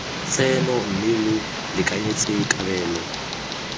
tseno mme lo lekanyetse kabelo